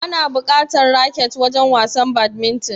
Ana bukatan raket wajen wasan badminton?